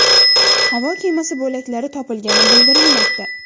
Havo kemasi bo‘laklari topilgani bildirilmoqda.